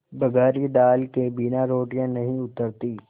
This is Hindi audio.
बघारी दाल के बिना रोटियाँ नहीं उतरतीं